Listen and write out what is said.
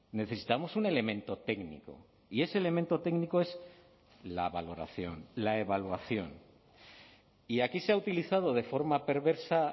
necesitamos un elemento técnico y ese elemento técnico es la valoración la evaluación y aquí se ha utilizado de forma perversa